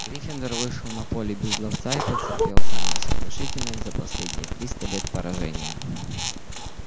гриффиндор вышел на поле без ловца и потерпел самое сокрушительное за последние триста лет поражение